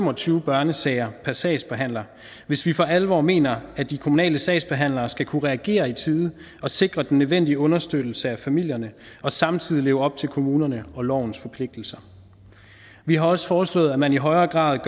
og tyve børnesager per sagsbehandler hvis vi for alvor mener at de kommunale sagsbehandlere skal kunne reagere i tide og sikre den nødvendige understøttelse af familierne og samtidig leve op til kommunernes og lovens forpligtelser vi har også foreslået at man i højere grad